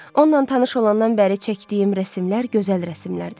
Onunla tanış olandan bəri çəkdiyim rəsmlər gözəl rəsmlərdir.